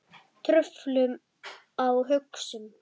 Truflun á hugsun